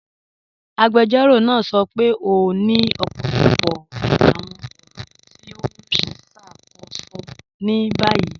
Agbẹjọ́rọ̀ naa sọ pé o ni ọpọlọpọ awọn ọ̀ran ti o n ṣákóṣọ ni bayí.